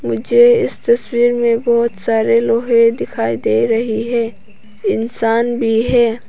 मुझे इस तस्वीर में बहोत सारे लोहे दिखाई दे रही है इंसान भी है।